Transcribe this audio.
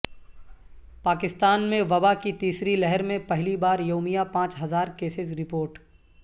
پاکستان میں وبا کی تیسری لہر میں پہلی بار یومیہ پانچ ہزار کیسز رپورٹ